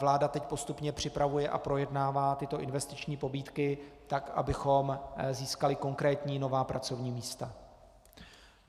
Vláda teď postupně připravuje a projednává tyto investiční pobídky tak, abychom získali konkrétní nová pracovní místa.